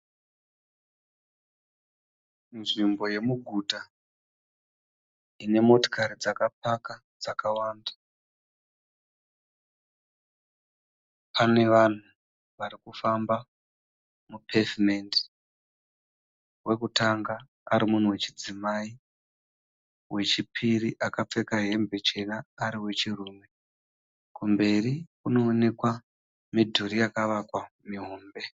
Nzvimbo yemuguta ine motikari dzakapaka dzakawanda, pane vanhu vari kufamba mupevhimendi. Wekutanga ari munhu wechidzimai wechipiri akapfeka hembe chena ari wechirume. Kumberi kunoonekwa midhuri yakavakwa mihombe.